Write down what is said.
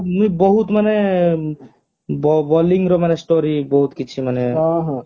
ତାର ବହୁତ ମାନେ bowling ର ମାନେ story ବହୁତ କିଛି ମାନେ